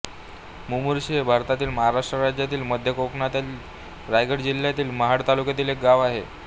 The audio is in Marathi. मुमुर्शी हे भारतातील महाराष्ट्र राज्यातील मध्य कोकणातील रायगड जिल्ह्यातील महाड तालुक्यातील एक गाव आहे